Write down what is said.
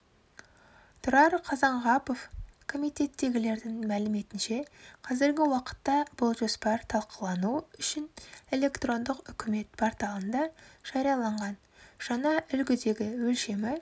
тұрар қазанғапов комитеттегілердің мәліметінше қазіргі уақытта бұл жоспар талқылану үшінэлектрондық үкімет порталында жарияланған жаңа үлгідегі өлшемі